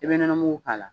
I bɛ nɔnɔ mugu k'a la